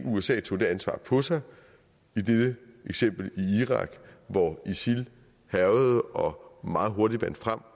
usa tog det ansvar på sig i dette eksempel i irak hvor isil hærgede og meget hurtigt vandt frem